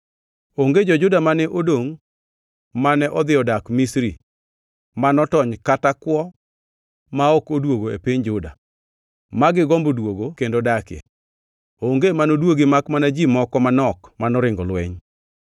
Onge jo-Juda mane odongʼ mane odhi dak Misri ma notony kata kwo ma ok odwogo e piny Juda, ma gigombo duogoe kendo dakie; onge manoduogi makmana ji moko manok manoringo lweny.”